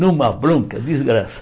Numa bronca